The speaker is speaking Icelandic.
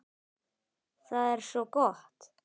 Það er svo gott!